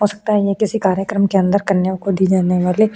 हो सकता है ये किसी कार्यक्रम के अंदर कन्याओं को दी जाने वाले --